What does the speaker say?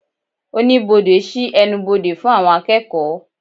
Oníbodè sí ẹnubodè fún àwọn akeeko